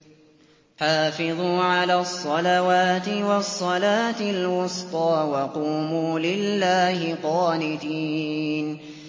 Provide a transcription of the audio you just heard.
حَافِظُوا عَلَى الصَّلَوَاتِ وَالصَّلَاةِ الْوُسْطَىٰ وَقُومُوا لِلَّهِ قَانِتِينَ